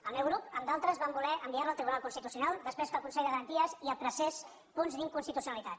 el meu grup amb d’altres vam voler enviar·la al tribunal constitu·cional després que el consell de garanties hi apreciés punts d’inconstitucionalitat